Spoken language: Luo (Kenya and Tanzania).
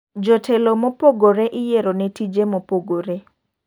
Jotelo mopogore iyiero ne tije mopogore.